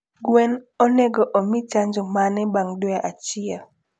Gwen onego omii chanjo mane bang dwe achiel?